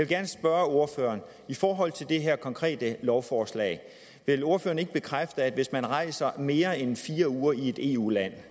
gerne spørge ordføreren i forhold til det her konkrete lovforslag vil ordføreren ikke bekræfte at hvis man rejser mere end fire uger i et eu land